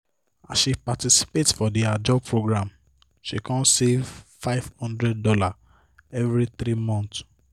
as she participate for the ajo program she kon save five hundred dollars every three month